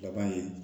Laban in